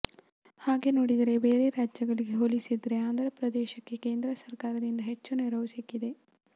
ಹಾಗೆ ನೋಡಿದ್ರೆ ಬೇರೆ ರಾಜ್ಯಗಳಿಗೆ ಹೋಲಿಸಿದ್ರೆ ಆಂದ್ರ ಪ್ರದೇಶಕ್ಕೆ ಕೇಂದ್ರ ಸರ್ಕಾರದಿಂದ ಹೆಚ್ಚು ನೆರವು ಸಿಕ್ಕಿದೆ